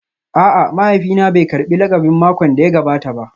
A'a, mahaifina bai karbi lakabin makon da ya gabata ba